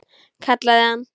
Kallaði hann.